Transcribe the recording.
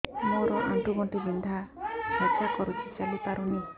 ମୋର ଆଣ୍ଠୁ ଗଣ୍ଠି ବିନ୍ଧା ଛେଚା କରୁଛି ଚାଲି ପାରୁନି